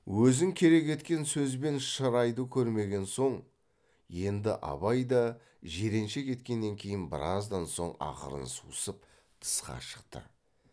өзін керек еткен сөз бен шырайды көрмеген соң енді абай да жиренше кеткеннен кейін біраздан соң ақырын сусып тысқа шықты